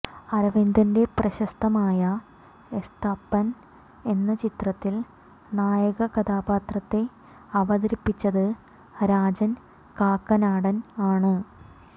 അരവിന്ദന്റെ പ്രശസ്തമായ എസ്തപ്പാൻ എന്ന ചിത്രത്തിൽ നായക കഥാപാത്രത്തെ അവതരിപ്പിച്ചത് രാജൻ കാക്കനാടൻ ആണ്